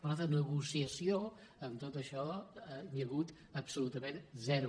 però de negociació en tot això n’hi ha hagut absolutament zero